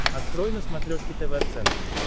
открой на смотрешке тв центр